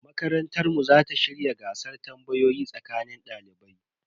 Makarantar mu za ta shirya gasar tambayoyi tsakanin dalibai.